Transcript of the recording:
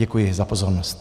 Děkuji za pozornost.